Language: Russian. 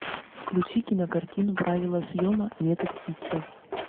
включи кинокартину правила съема метод хитча